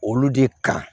Olu de kan